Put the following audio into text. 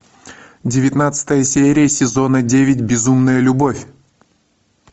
девятнадцатая серия сезона девять безумная любовь